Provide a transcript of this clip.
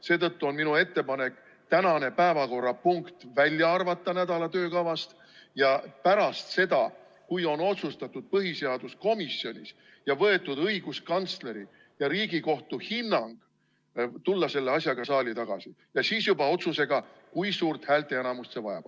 Seetõttu on minu ettepanek tänane päevakorrapunkt nädala töökavast välja arvata ja tulla selle asjaga saali tagasi pärast seda, kui on saadud õiguskantsleri ja Riigikohtu hinnang ning otsustatud põhiseaduskomisjonis, kui suurt häälteenamust see vajab.